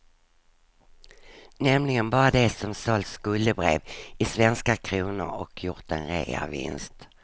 Nämligen bara de som sålt skuldebrev i svenska kronor och gjort en reavinst.